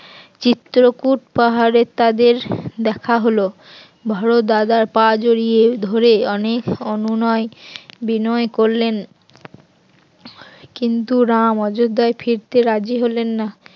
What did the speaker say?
চিত্রকূট পাহাড়ে তাদের দেখা হল ভরত দাদার পা জড়িয়ে ধরে অনেক অনুনয় বিনয় করলেন কিন্তু রাম অযোধ্যায় ফিরতে রাজি হলেন না